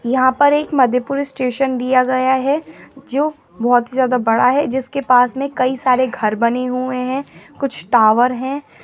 यहाँ पर एक मधेपुरा स्टेशन दिया गया है जो बहुत ही ज्यादा बड़ा है जिसके पास में कई सारे घर बने हुए है कुछ टावर है।